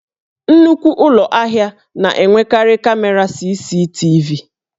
Nnukwu Ụlọ ahịa na-enwekarị kamera CCTV